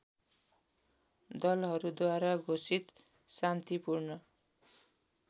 दलहरूद्वारा घोषित शान्तिपूर्ण